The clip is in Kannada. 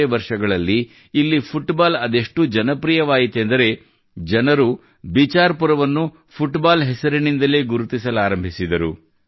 ಕೆಲವೇ ವರ್ಷಗಳಲ್ಲಿ ಇಲ್ಲಿ ಫುಟ್ಬಾಲ್ ಅದೆಷ್ಟು ಜನಪ್ರಿಯವಾಯಿತೆಂದರೆ ಜನರು ಬಿಚಾರ್ ಪುರವನ್ನು ಫುಟ್ ಬಾಲ್ ಹೆಸರಿನಿಂದಲೇ ಗುರುತಿಸಲಾರಂಭಿಸಿದರು